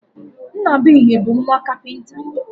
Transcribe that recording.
Nnabuihe bu nwa kapinta